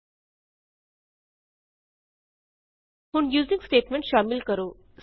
ਹੁਣ US using statement ਸ਼ਾਮਿਲ ਕਰੋ